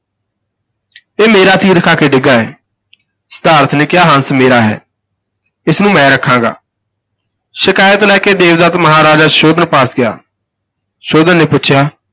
ਇਹ ਮੇਰਾ ਤੀਰ ਖਾ ਕੇ ਡਿੱਗਾ ਹੈ ਸਿਧਾਰਥ ਨੇ ਕਿਹਾ ਹੰਸ ਮੇਰਾ ਹੈ, ਇਸ ਨੂੰ ਮੈਂ ਰੱਖਾਂਗਾ ਸ਼ਿਕਾਇਤ ਲੈ ਕੇ ਦੇਵਦੱਤ ਮਹਾਰਾਜ ਸੋਧਨ ਪਾਸ ਗਿਆ, ਸੁੋਧਨ ਨੇ ਪੁੱਛਿਆ